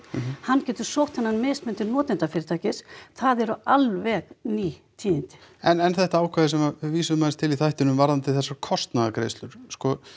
hann getur sótt þennan mismun til notendafyrirtækis það eru alveg ný tíðindi en þetta ákvæði sem við vísuðum til í þættinum varðandi þessar kostnaðargreiðslur sko